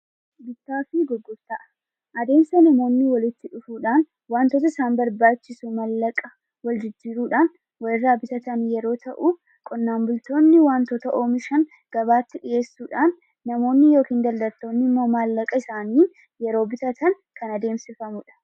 Adeemsa namoonni walitti dhufuudhaan waantoota isaan barbaachisu maallaqa waljijjiiruudhaan wal irraa bitatan yeroo ta'u, qonnaan bultoonni wantoota oomishan gabaatti dhiyeessu. Namoonni yookiin daldaltoonni immoo maallaqa isaaniin yeroo bitatan kan adeemsifamudha.